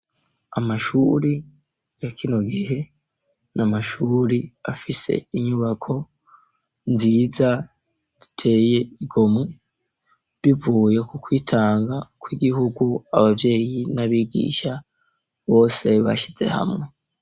Amashuri yakino gihe namashuri afise inyubako nziza ziteye igomwe bivuye ku kwitanga kw'igihugu abavyeyi n'abigishya bose bashize hamwe.